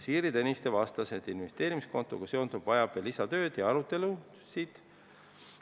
Siiri Tõniste vastas, et investeerimiskontoga seonduv vajab veel lisatööd ja arutelusid.